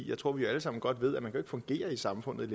jeg tror vi alle sammen godt ved at man kan fungere i samfundet